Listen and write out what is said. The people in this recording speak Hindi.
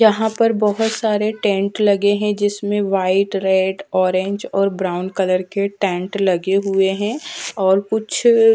यहाँ पर बहुत सारे टेंट लगे है जिसमे वाइट रेड ऑरेंज और ब्राउन कलर के टेंट लगे हुए है और कुछ--